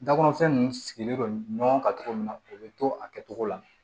Dakɔrɔnfɛn nunnu sigilen don ɲɔgɔn kan cogo min na o be to a kɛcogo la